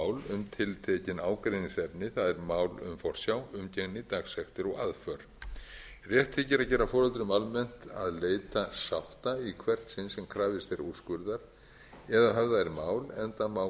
mál um tiltekin ágreiningsefni það er mál um forsjá umgengni dagsektir og aðför rétt þykir að gera foreldrum almennt að leita sátta í hvert sinn sem krafist er úrskurðar ef höfðað er mál enda má